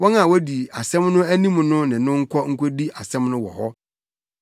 wɔn a wodi asɛm no anim no ne no nkɔ nkodi asɛm no wɔ hɔ.